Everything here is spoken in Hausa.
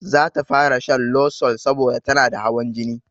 Zata fara shan losol saboda tanada hawan jini